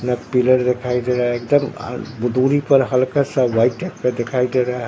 ना पिलर दिखाई दे रहा है एकदम अ दूरी पर हल्का-सा व्हाइट टाइप का दिखाई दे रहा --